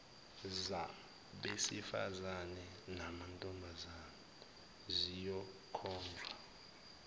zabesifazane namantombazane kuyokhonjwa